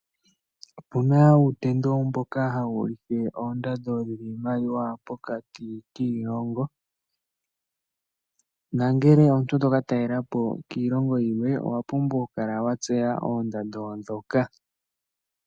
Opuna uutendo mbono ha wuulike oondando dhiimaliwa pokati kiilongo nongele omuntu to ka talela po kiilongo yilwe owapumbwa okutseya oondando ndhoka.